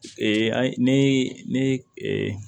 an ne